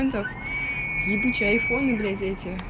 фунтов ебучие фоны газете